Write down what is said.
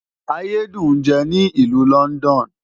Ayé dùn ń jẹ ní ìlú London.